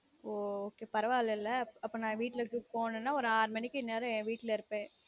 ஒ ok பரவாயில்லல அப்போ நான் வீட்ல இருந்து போனனா ஒரு ஆறு மணிக்கு இந்நேரம் என் வீட்ல இருப்பன்